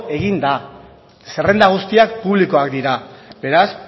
egin da zerrenda guztiak publikoak dira beraz